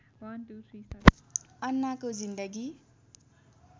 अन्नाको जिन्दगी